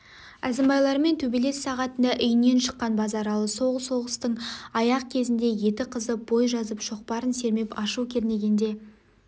әзімбайлармен төбелес сағатында үйінен шыққан базаралы сол соғыстың аяқ кезінде еті қызып бой жазып шоқпарын сермеп ашу кернегенде